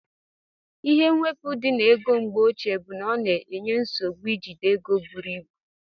Ihe mwepu di na ego mgbeoche bu na ọna enye nsogbu ijide ego buru ibụ.